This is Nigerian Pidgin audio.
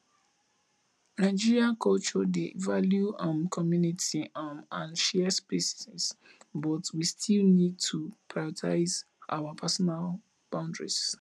nigerian culture dey value um community um and share spaces but we still need to prioritize our personal boundaries